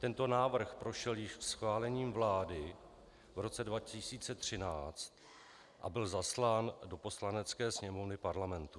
Tento návrh prošel již schválením vlády v roce 2013 a byl zaslán do Poslanecké sněmovny Parlamentu.